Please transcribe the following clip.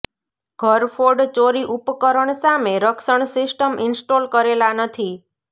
ઘરફોડ ચોરી ઉપકરણ સામે રક્ષણ સિસ્ટમ ઇન્સ્ટોલ કરેલા નથી